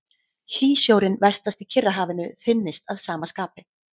Hlýsjórinn vestast í Kyrrahafinu þynnist að sama skapi.